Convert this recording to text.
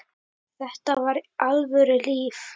Þetta var alvöru líf.